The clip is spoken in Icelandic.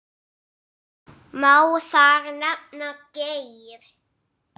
Má þar nefna: Geir